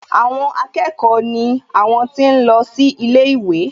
Àwọn akẹ́kọ̀ọ́ ni àwọn tí ń lọ sí ilé ìwé